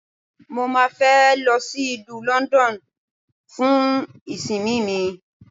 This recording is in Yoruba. Mo má a fẹ́ lọ sí ìlú London fún ìsinmi mi.